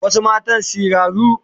Wasu mata siraru